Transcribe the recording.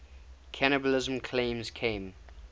cannibalism claims came